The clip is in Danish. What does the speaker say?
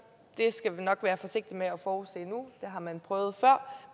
det skal vi nok være forsigtige med at forudse nu har man prøvet før